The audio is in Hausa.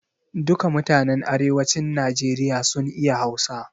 Duka mutanen Arewacin Najeriya sun iya Hausa.